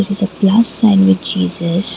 it is a plus sign with Jesus.